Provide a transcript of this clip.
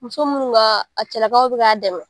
Muso minnu ka a cɛlakaw bɛ k'a dɛmɛ.